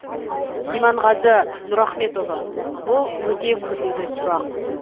иманғазы нұрахметұлы бұл өте күрделі сұрақ